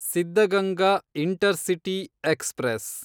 Siddaganga intercity express